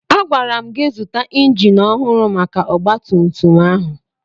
Agwara m gị zụta injin ọhụrụ maka ọgbatumtum ahụ!